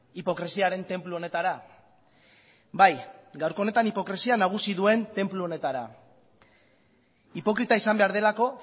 hipokresiaren tenplu honetara bai gaurko honetan hipokresia nagusi duen tenplu honetara hipokrita izan behar delako